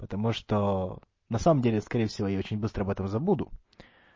потому что на самом деле скорее всего я очень быстро об этом забуду